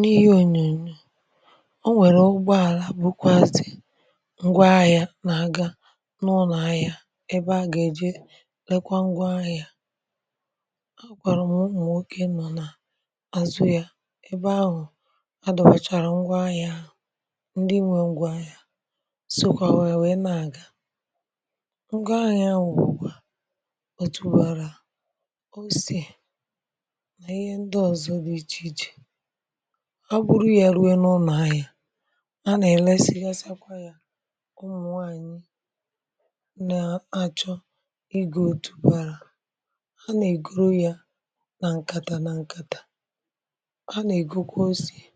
n’ihi ònyònyò, o nwèrè ụgbọàlà bụkwàzị̀ ngwa ahịȧ nà-aga n’ụnọ̀ ahịa, ebe a gà-èje lekwa ngwa ahịȧ a kwàrà m̀mụmụ, nwokė nọ̀ n’azụ̇ ya, ebe ahụ̀ adọ̇bàchàrà ngwa ahịȧ. ǹdị nwe ngwa ahịȧ sòkwà ha, wee nà-aga ngwa ahịa, wùkwa otùbàrà a, um bụrụ ya rue n’ụlọ̀. anya a nà-èlesighasịakwa ya, ụmụ̀ nwaànyị na-achọ igė òtù bara a, nà-ègoro ya nà ǹkàtà, nà ǹkàtà a nà-ègokwa ose, ya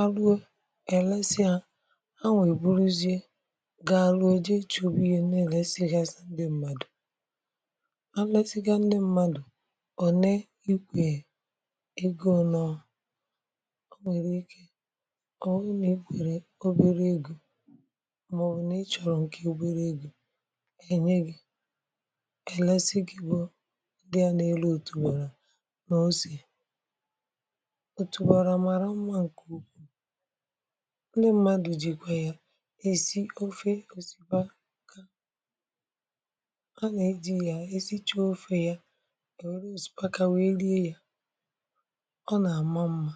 arụ. e èlesịa a, a nwèburuzie gaa rụ̀ọ, jee ịchọ̇ obi̇ghì, na-èlesighasị ndị mmadụ̀. a resigha ndị mmadụ̀ egȯ nọ, o nwere ike o nwere nà e kwere oberė egȯ, màọbụ̀ n’ịchọ̀rọ̀ nke oberė egȯ enye gị̇. èlesi gị̇ bụ̇ dịa n’elu etùgoro nà ose etùgoro màrà mmȧ. ǹkè okwu, ndị mmadụ̀ jikwa ya èzi ofe, òsìbaka a nà ejì ya, esi chọọ ofė ya, ọ nà-àma mmȧ.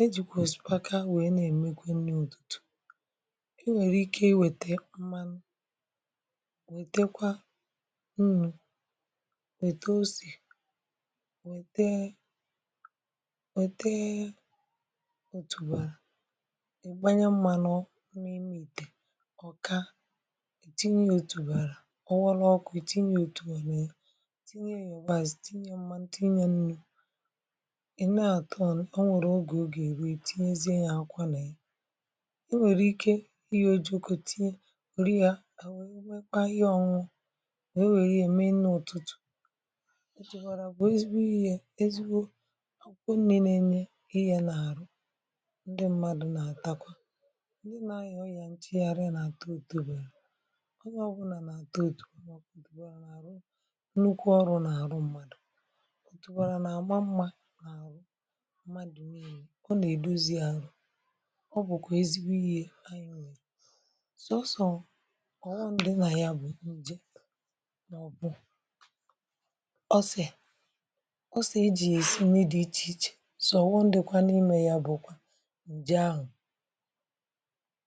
e jùkwà sị̀paka, wèe na-èmekwe nri ụ̀tụtụ̀. e nwèrè ike i wète mmanụ, wètekwa nnu̇, wète o sì, wètee wètee òtùbàrà, ìgbanya mmȧ n’onu, emìtè ọ̀, ka tinye ya òtùbàrà, ọwụrụ ọkụ̇, tinye ya òtùbàrà. ya i nee àtọ ọnụ, o nwèrè ogè, o gà-èri, ètinyezie yȧ akwà nà i, e nwèrè ike ịyȧ, o jokȯ tinye òrịa, à nwèe nwekpa ihe ọnwụ, nà o nwèrè ihe mee n’ụ̀tụtụ̀. o chèbàrà, bụ̀ ezigbo ịyė, ezigbo akwụkwọ nne, n’enye ihe nà-àrụ, ndị mmadụ̀ nà-àtakwa, ndị nà-ahịa ọ yà ntị, yȧ rie, nà-àta ùtebèrè. onye ọbụlà nà-àtọ òtù ọ, mọ̀bụ̀ dịbụra n’àrụ mmadụ̀ n’enye, ọ nà-èdozi àhụ. ọ bụ̀kwà ezigbo ihe, anyị mee sọsọ̀. ọ̀ghọṁ dị nà ya bụ̀ ǹje, n’ọbụ ọsị̀, ọ sị̀ ejì ejì nne dị ichè ichè, sọ̀ ghọṁ dị̀kwà n’imė ya bụ̀ ǹje ahụ̀.